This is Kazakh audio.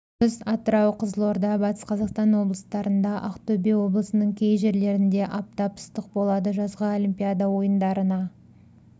күндіз атырау қызылорда батыс қазақстан облыстарында ақтөбе облысының кей жерлерінде аптап ыстық болады жазғы олимпиада ойындарына